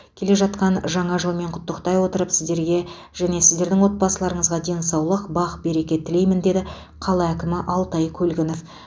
келе жатқан жаңа жылмен құттықтай отырып сіздерге және сіздердің отбасыларыңызға денсаулық бақ береке тілеймін деді қала әкімі алтай көлгінов